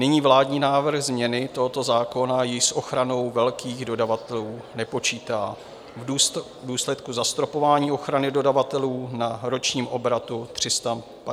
Nyní vládní návrh změny tohoto zákona již s ochranou velkých dodavatelů nepočítá v důsledku zastropování ochrany dodavatelů na ročním obratu 350 milionů euro.